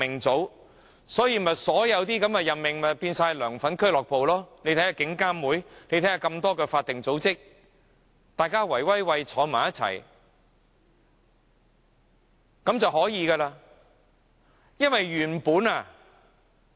因此，現時所有任命也變成"梁粉俱樂部"，看看獨立監察警方處理投訴委員會和眾多法定組織，大夥兒坐在一起便成事了。